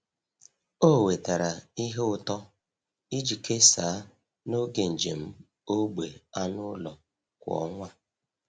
Ọ wetara ihe ụtọ iji kesaa n’oge njem ógbè anụ ụlọ kwa ọnwa.